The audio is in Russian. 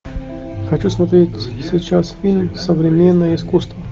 хочу смотреть сейчас фильм современное искусство